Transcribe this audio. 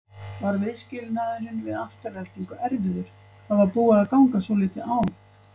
Var viðskilnaðurinn við Aftureldingu erfiður, það var búið að ganga svolítið á?